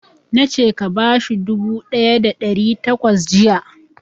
Na ce ka bashi dubu ɗaya da ɗari takwas jiya!